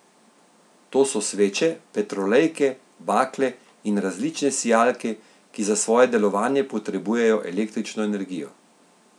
To so sveče, petrolejke, bakle in različne sijalke, ki za svoje delovanje potrebujejo električno energijo.